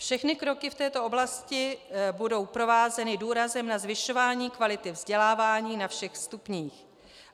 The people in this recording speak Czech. - Všechny kroky v této oblasti budou provázeny důrazem na zvyšování kvality vzdělávání na všech stupních.